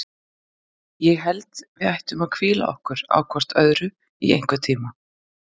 Ég held að við ættum að hvíla okkur á hvort öðru í einhvern tíma.